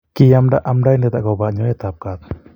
Kiamda amdaindet aobo nyoet ab kat